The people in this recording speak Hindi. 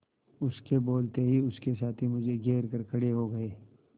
उसके बोलते ही उसके साथी मुझे घेर कर खड़े हो गए